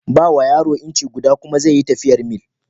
Ba wa yaro inci guda kuma ze yi tafiyar mil.